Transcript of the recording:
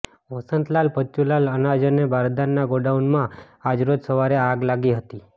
વસંતલાલ ભચુલાલના અનાજ અને બારદાનના ગોડાઉનમાં આજરોજ સવારે આગ લાગી હતી